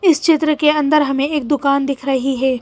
इस चित्र के अंदर हमें एक दुकान दिख रही है।